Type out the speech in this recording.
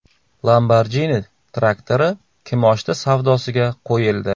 Lamborghini traktori kimoshdi savdosiga qo‘yildi.